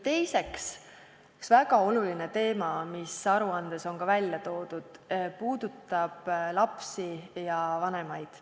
Teiseks, üks väga oluline teema, mis aruandes on ka välja toodud, puudutab lapsi ja vanemaid.